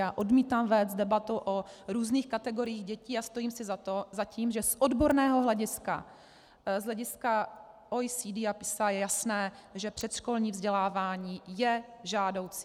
Já odmítám vést debatu o různých kategoriích dětí a stojím si za tím, že z odborného hlediska, z hlediska OECD a PISA je jasné, že předškolní vzdělávání je žádoucí.